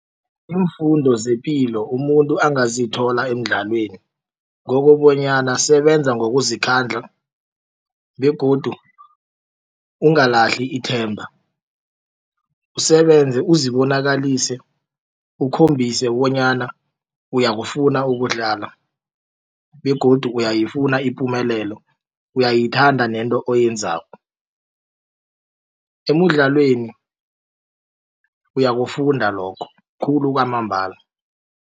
Iimfundo zepilo umuntu angazithola emidlalweni ngokobanyana sebenza ngokuzikhandla begodu ungalahli ithemba usebenze uzibonakalise ukhombise bonyana uyakufuna ukudlala begodu uyayifuna ipumelelo uyayithanda nento oyenzako. Emidlalweni uyakufunda lokho khulu kwamambala.